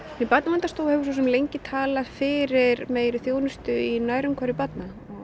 Barnaverndarstofa hefur lengi talað fyrir meiri þjónustu í nærumhverfi barna